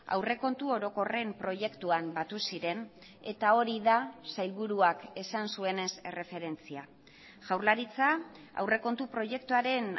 aurrekontu orokorren proiektuan batu ziren eta hori da sailburuak esan zuenez erreferentzia jaurlaritza aurrekontu proiektuaren